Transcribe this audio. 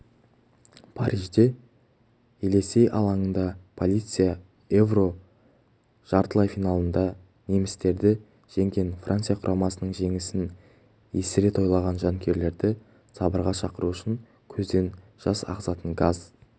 парижде елесей алаңында полиция еуро жартылай финалында немістерді жеңгенфранция құрамасының жеңісін есіре тойлаған жанкүйерлерді сабырға шақыру үшін көзден жас ағызатын газ